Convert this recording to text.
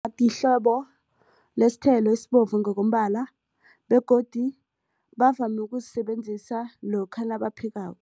Yihlobo le sithelo esibovu ngokombala begodu bavame ukusisebenzisa lokha nabaphekako.